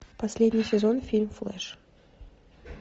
последний сезон фильм флэш